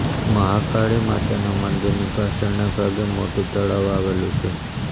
મહાકાળી માતાનાં મંદિરની પાછળના ભાગે મોટું તળાવ આવેલું છે